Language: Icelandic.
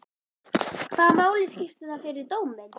Hvaða máli skiptir það fyrir dóminn?